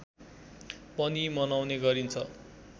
पनि मनाउने गरिन्छ